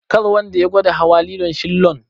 Kar wanda ya gwada hawa lilon shillon.